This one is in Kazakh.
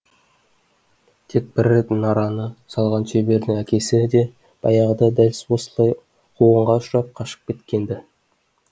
тек бір рет мұнараны салған шебердің әкесі де баяғыда дәл осылай қуғынға ұшырап қашып кеткен ді